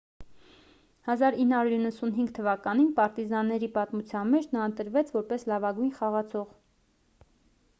1995 թվականին պարտիզանների պատմության մեջ նա ընտրվեց որպես լավագույն խաղացող